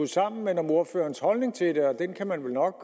sammen men om ordførerens holdning til det og den kan man vel nok